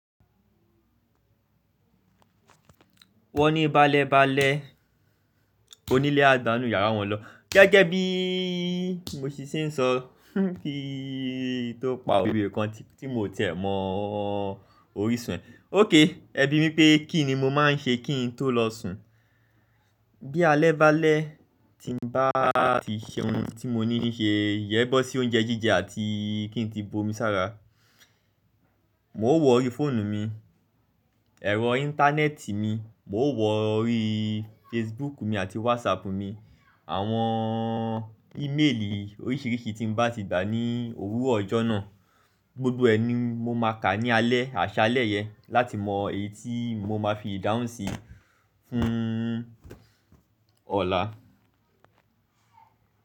Wọ́n ní balẹ balẹ onílé á gbànù iyàrá wọn lọ. Gẹ́gẹ́ bí mo ṣe ń sọ, ti tó pa òwe kan tí mo ti ẹ̀ mọ́ orísun ẹ. Ókay, ẹbí-mi pé kí ni mo máa ń ṣe kí n tó lọ sùn. Bí alẹ́ balẹ̀ ti ń bá ti ṣe ohun tí mo ní n ṣe, iyẹ̀n bọ́ sí oúnjẹ jíjẹ àti kí n tí bomi sára. Mo wọ ori fóònù mi, ẹ̀rọ íńtánẹ́ẹ̀tì mi, mo wọ ori Facebook mi àti WhatsApp mi. Àwọn íméèlì oríṣìíríṣìí tí ń bá ti gbà ní òwúrọ̀ ọjọ́ náà gbogbo ẹ ni mo máa kà á ní alẹ́, àṣálẹ́ yẹn láti mọ èyí tí mo máa fi ìdáhùn sí fún ọ̀la.